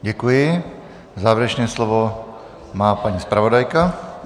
Děkuji, závěrečné slovo má paní zpravodajka.